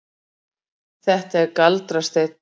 Þetta er galdrasteinn.